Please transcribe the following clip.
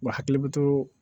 Wa hakili bɛ to